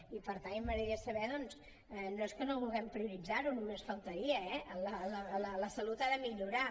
i per tant a mi m’agradaria saber doncs no és que no vulguem prioritzar ho només faltaria eh la salut ha de millorar